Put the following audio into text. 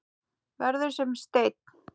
Verður sem steinn.